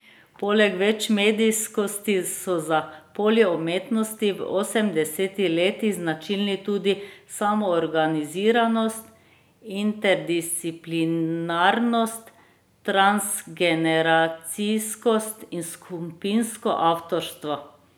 Poleg večmedijskosti so za polje umetnosti v osemdesetih letih značilni tudi samoorganiziranost, interdisciplinarnost, transgeneracijskost in skupinsko avtorstvo.